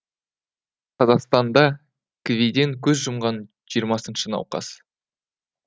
қазақстанда кви ден көз жұмған жиырмасыншы науқас